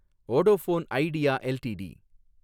Vodafone Idea LTD